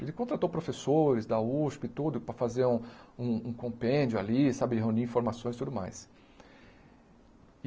Ele contratou professores da Usp e tudo para fazer um um compêndio ali, sabe, reunir informações e tudo mais.